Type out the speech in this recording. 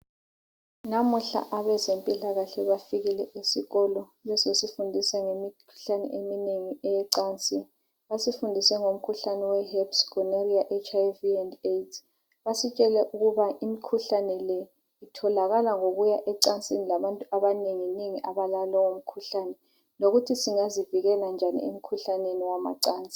Namuhla abezempilakahle bafikile esikolo bezosifundisa ngezempilakahle lemikhuhlane eminengi yemacansini basifundise ngemikhuhlane eminengi okuthiwa yiherps gonorrhea HIV and AIDS basitshele ukuthi imikhuhlabe le itholakala ngokuya emacansini labantu abanengi nengi abalalowo mkhuhlane lokuthi singazivikela njani emkhuhlaneni wamacansi